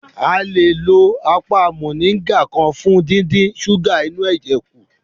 A le lo apá mọ̀nríngà kan fún díndín súgà inú ẹ̀jẹ̀ kù